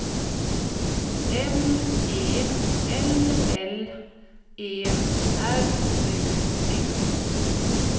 M E L L E R U D